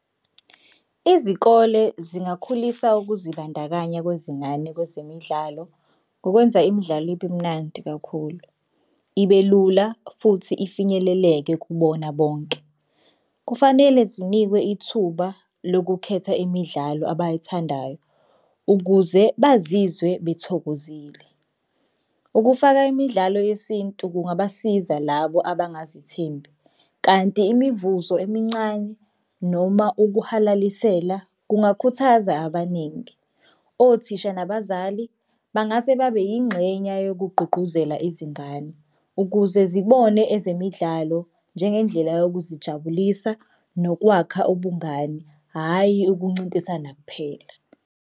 Izikole zingakhulisa ukuzibandakanya kwezingane kwezemidlalo ngokwenza imidlalo ibe mnandi kakhulu, ibe lula futhi ifinyeleleke kubona bonke. Kufanele zinikwe ithuba lokukhetha imidlalo abayithandayo ukuze bazizwe bethokozile. Ukufaka imidlalo yesintu kungabasiza labo abangazithembi, kanti imivuzo emincane noma ukuhalalisela kungakhuthaza abaningi. Othisha nabazali bangase babe yingxenya yokugqugquzela izingane ukuze zibone ezemidlalo njengendlela yokuzijabulisa nokwakha ubungani, hhayi ukuncintisana kuphela.